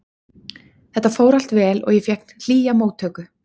Þetta fór allt vel og ég fékk hlýja móttöku.